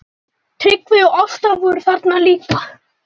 Tryggvi og Ásta voru þarna líka.